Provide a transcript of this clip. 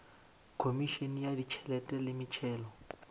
khomišene ya ditšhelete le metšhelo